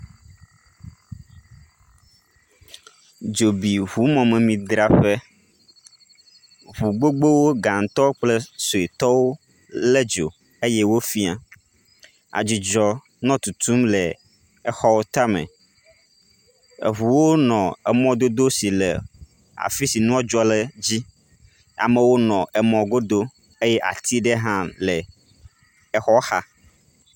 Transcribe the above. Dzo bi ŋu mɔmemidzraƒe. Ŋu gbogbowo gãtɔ kple suetɔwo le dzo eye wo fia. Adzudzɔ nɔ tutum le exɔ ta me. Eŋuwo nɔ emɔdodo si le afi si nua dzɔ le dzi. Amewo nɔ emɔ godo eye ati aɖe hã le exɔ xa.